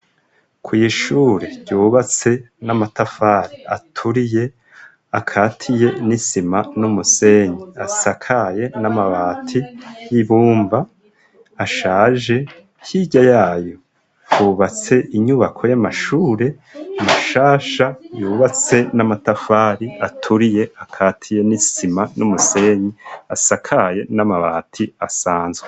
Kw'ishure ryubatse n'amatafari aturiye akatiye n'isima n'umusenyi, asakaye n'amabati y'ibumba ashaje, hirya yayo hubatse inyubako y'amashure mashasha yubatse n'amatafari aturiye akatiye n'isima n'umusenyi, asakaye n'amabati asanzwe.